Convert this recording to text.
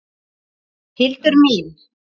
Hildur mín!